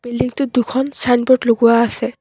বিল্ডিংটোত দুখন ছাইনব'ৰ্ড লগোৱা আছে।